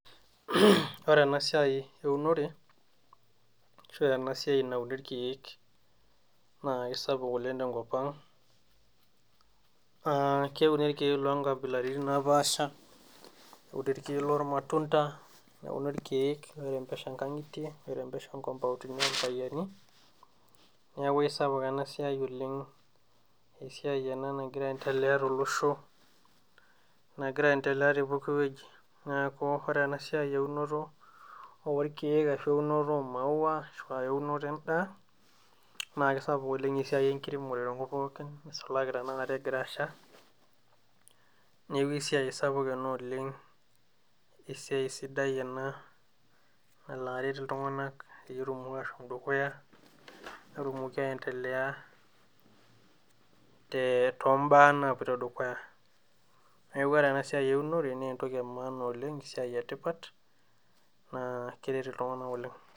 Ore enasiai eunore ashu enasiai nauni irkeek naa kisapuk oleng tenkop ang. Keuni irkeek lonkabilaritin napaasha, euni irkeek lormatunda, neuni irkeek airembesha nkang'itie, airembesha nkompauntini orpayiani, neeku aisapuk enasiai oleng. Esiai ena nagira aendelea tolosho, nagira aendelea tepooki woji. Neeku ore enasiai eunoto orkeek ashu eunoto omaua ashua eunoto endaa, na kisapuk oleng esiai enkiremore tenkop pookin, nisulaki tanakata egira asha, neeku esiai sapuk ena oleng, esiai sidai ena nala aret iltung'anak petumoki ashom dukuya, netumoki aendelea tombaa napoito dukuya. Neeku ore enasiai eunore, nentoki emaana oleng esiai etipat, naa keret iltung'anak oleng.